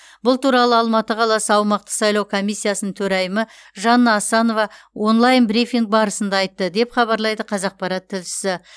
бұл туралы алматы қаласы аумақтық сайлау комиссиясының төрайымы жанна асанова онлайн брифинг барысында айтты деп хабарлайды қазақпарат тілшісі